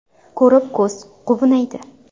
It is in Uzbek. Ko‘rib ko‘z quvnaydi!.